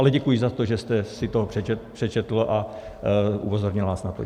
Ale děkuji za to, že jste si to přečetl a upozornil nás na to.